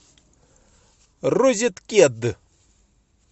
розеткед